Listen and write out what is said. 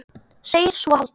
Segist svo halda það.